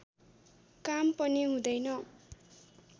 काम पनि हुँदैन